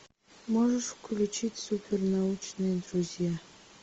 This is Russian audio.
можешь включить супер научные друзья